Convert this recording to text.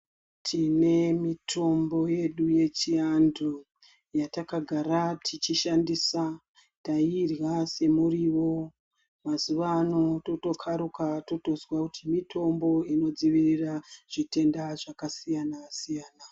Tine mitombo yedu yechiantu yatakagara teishandisa tairya semuriwo mazuvaano totokaruka totozwa kuti mutombo inodzivirira zvakasiyana siyana.